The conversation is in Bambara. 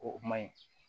O man ɲi